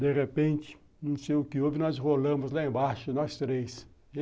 De repente, não sei o que houve, nós rolamos lá embaixo, nós três.